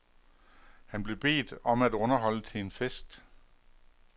Han blev bedt om at underholde til en fest.